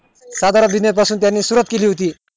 साधारण business पासून त्यानी सुरुवात केली होती